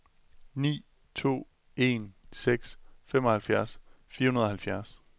ni to en seks femoghalvfjerds fire hundrede og halvfjerds